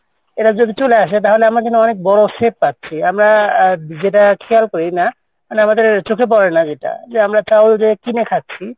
এটা যদি চলে আসে তাহলে আমরা কিন্তু অনেক বড় safe পাচ্ছি আমরা যেটা খেয়াল করিনা আমাদের চোখে পড়েনা যেটা আমরা চাউল খাচ্ছি,